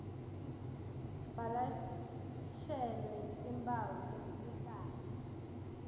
balashelwe timphawu temkhuhlane